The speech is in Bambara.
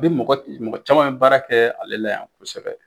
Bi mɔgɔ mɔgɔ caman bi baara kɛ ale la yan kosɛbɛ